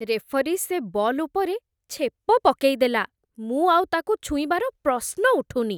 Referee, ସେ ball ଉପରେ ଛେପ ପକେଇଦେଲା । ମୁଁ ଆଉ ତା'କୁ ଛୁଇଁବାର ପ୍ରଶ୍ନ ଉଠୁନି ।